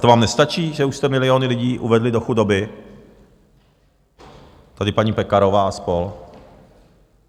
To vám nestačí, že už jste miliony lidí uvedli do chudoby, tady paní Pekarová a spol.?